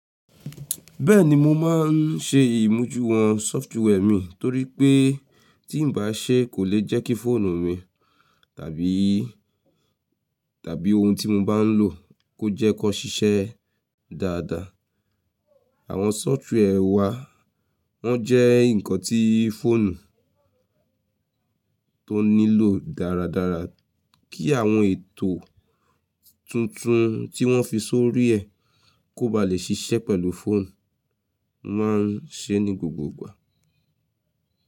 Bẹ́ẹ̀ni mo máa ń ṣe ìmújùwọn software mi torí pé tí ǹ bá ṣe kò lè jẹ́ kí fóònù mi tàbí, tàbí oun tí mo bá ń lò kó jẹ́ kọ ṣiṣẹ́ dáadáa. Àwọn software wà wọn jẹ́ nǹkan tí fóònù tó nílò dáradára kí àwọn ètò tuntun tí wọ́n fi sórí ẹ kó ba lè ṣiṣẹ́ pẹ̀lú fóònù, mo máa ń ṣe é ní gbogbogbà.